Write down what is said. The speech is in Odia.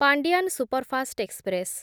Pandian superfast express